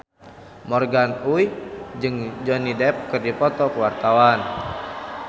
Morgan Oey jeung Johnny Depp keur dipoto ku wartawan